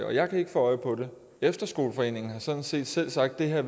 og jeg kan ikke få øje på nogen efterskoleforeningen har sådan set selv sagt at